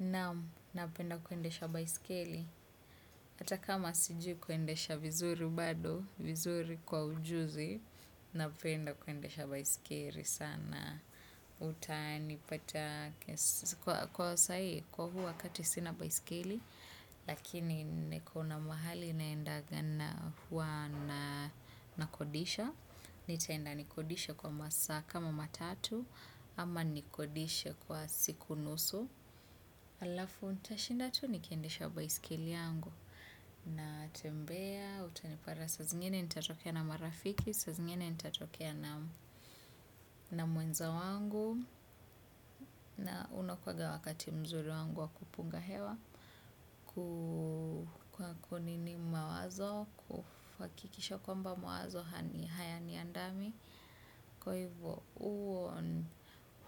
Naam, napenda kuendesha baisikeli. Hata kama sijiu kuendesha vizuri bado vizuri kwa ujuzi, napenda kuendesha baisikeli sana. Utanipata, kwa sahi, kwa huu wakati sina baisikeli, lakini kuna mahali naendaga na hua nakodisha. Nitaenda nikodishe kwa masaa kama matatu, ama nikodishe kwa siku nusu. Alafu nitashinda tu nikiendesha baisikeli yangu. Natembea, utanipata saa zingine nitatokea na marafiki saa zingine nitatokea na mwenza wangu. Na unakuwaga wakati mzuri wangu wa kupunga hewa. Kwa ku ni mawazo, kuhakikisha kwamba mawazo hayaniandami. Kwa hivyo,